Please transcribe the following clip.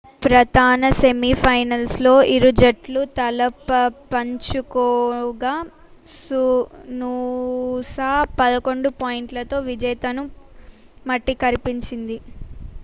ప్రధాన semi final లో ఇరుజట్లు తలపపంచుకోగా నూసా 11 పాయింట్లతో విజేతలను మట్టికరిపించింది